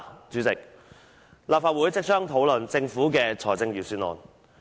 主席，立法會即將討論政府的財政預算案。